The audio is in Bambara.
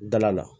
Dala la